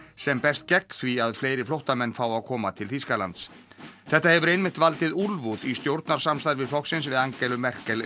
sem berst gegn því að fleiri flóttamenn fái að koma til Þýskalands þetta hefur einmitt valdið úlfúð í stjórnarsamstarfi flokksins við Angelu Merkel